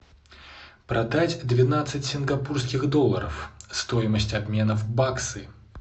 продать двенадцать сингапурских долларов стоимость обмена в баксы